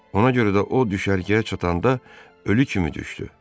Ona görə də o, düşərgəyə çatanda ölü kimi düşdü.